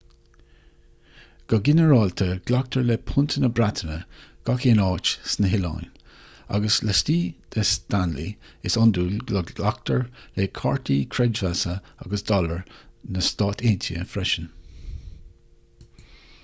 go ginearálta glactar le punt na breataine gach aon áit sna hoileáin agus laistigh de stanley is iondúil go nglactar le cártaí creidmheasa agus dollar na stát aontaithe freisin